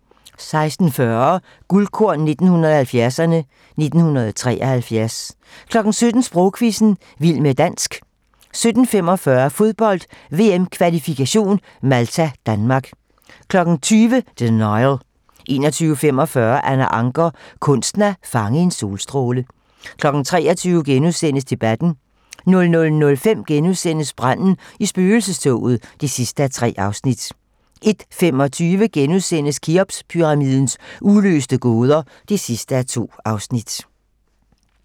16:40: Guldkorn 1970'erne: 1973 17:00: Sprogquizzen - Vild med dansk 17:45: Fodbold, VM-kvalifikation - Malta-Danmark 20:00: Denial 21:45: Anna Ancher - kunsten at fange en solstråle 23:00: Debatten * 00:05: Branden i spøgelsestoget (3:3)* 01:25: Kheopspyramidens uløste gåder (2:2)*